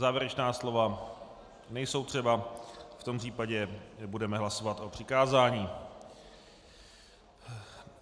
Závěrečná slova nejsou třeba, v tom případě budeme hlasovat o přikázání.